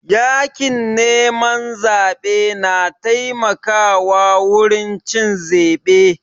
Yakin neman zaɓe na taimaka wa wurin cin zebe